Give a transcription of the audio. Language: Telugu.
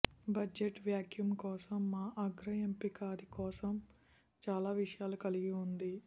బడ్జెట్ వాక్యూమ్ కోసం మా అగ్ర ఎంపిక అది కోసం చాలా విషయాలు కలిగి ఉంది